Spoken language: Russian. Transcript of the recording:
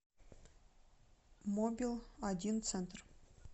мобил один центр